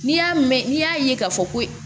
N'i y'a mɛn n'i y'a ye k'a fɔ ko